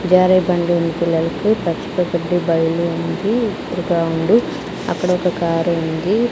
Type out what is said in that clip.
జారే బండ ఉంది పిల్లలకి బైలు ఉంది అక్కడ ఒక కారు ఉంది.